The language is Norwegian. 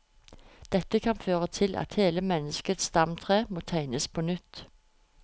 Dette kan føre til at hele menneskets stamtre må tegnes på nytt.